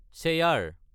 chair